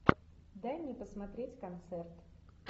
дай мне посмотреть концерт